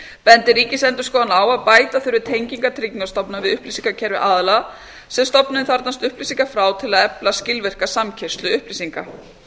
bendir ríkisendurskoðun á að bæta þurfi tengingar tryggingastofnunar við upplýsingakerfi aðila sem stofnunin þarfnast upplýsinga frá til að efla skilvirka samkeyrslu upplýsinga